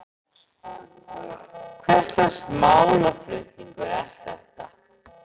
Hvers lags málflutningur er þetta?